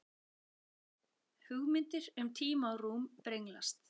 Hugmyndir um tíma og rúm brenglast.